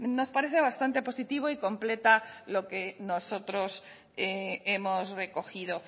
nos parece bastante positivo y completa lo que nosotros hemos recogido